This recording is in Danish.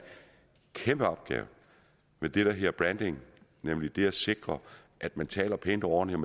kæmpe opgave med det der hedder branding nemlig det at sikre at man taler pænt og ordentligt